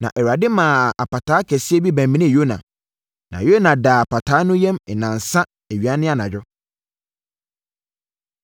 Na Awurade maa apataa kɛseɛ bi bɛmenee Yona, na Yona daa apataa no yam nnansa, awia ne anadwo.